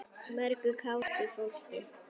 Mörgu kátu fólki.